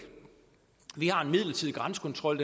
vi har en midlertidig grænsekontrol